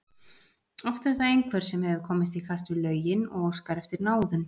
Oft er það einhver sem hefur komist í kast við lögin og óskar eftir náðun.